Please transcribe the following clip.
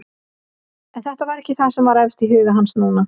En þetta var ekki það sem var efst í huga hans núna.